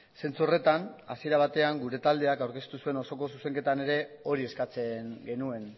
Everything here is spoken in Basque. zentzu horretan hasiera batean gure taldeak aurkeztu zuen osoko zuzenketan ere hori eskatzen genuen